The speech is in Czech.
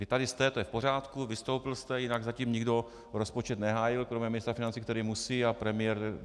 Vy tady jste, to je v pořádku, vystoupil jste, jinak zatím nikdo rozpočet nehájil kromě ministra financí, který musí, a premiér.